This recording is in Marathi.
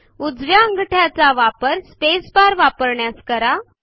उजव्या अंगठ्याचा वापर स्पेस बार वापरण्यास करा